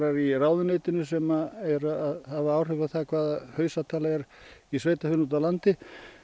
í ráðuneytinu sem eru að hafa áhrif á það hvaða hausatala er í sveitarfélagi úti á landi